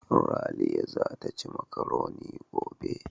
Raliya zata ci makaroni gobe.